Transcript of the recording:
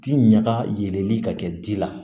Ti ɲaga yɛlɛli ka kɛ dila